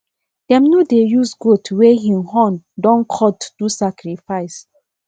dem no dey use goat wey hin horn don cut do sacrifice